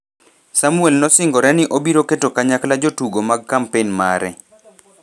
Samwel nosingore ni obiro keto kanyakla jotugo mag kampen mare